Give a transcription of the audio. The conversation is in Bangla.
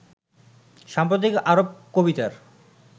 সাম্প্রতিক আরব কবিতার